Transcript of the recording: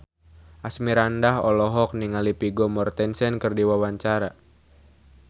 Asmirandah olohok ningali Vigo Mortensen keur diwawancara